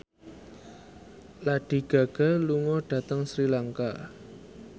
Lady Gaga lunga dhateng Sri Lanka